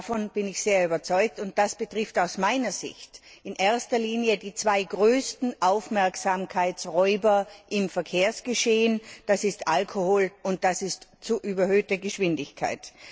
Davon bin ich sehr überzeugt, und das betrifft aus meiner Sicht in erster Linie die zwei größten Aufmerksamkeitsräuber im Verkehrsgeschehen, nämlich Alkohol und überhöhte Geschwindigkeit.